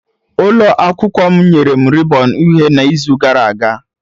Ụlọ akwụkwọ m nyere m rịbọn uhie n'izu gara aga.